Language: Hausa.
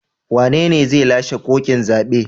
Wanene zai lashe koken zabe?